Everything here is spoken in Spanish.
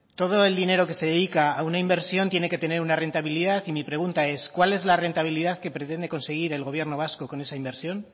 todo el dinero que se dedica a una inversión tiene que tener una rentabilidad y mi pregunta es cuál es la rentabilidad que pretende conseguir el gobierno vasco con esa inversión